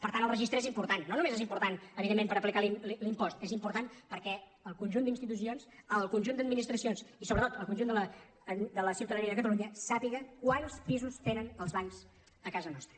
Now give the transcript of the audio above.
per tant el registre és important no només és important evidentment per aplicar l’impost és important perquè el conjunt d’institucions el conjunt d’administracions i sobretot el conjunt de la ciutadania de catalunya sàpiguen quants pisos tenen els bancs a casa nostra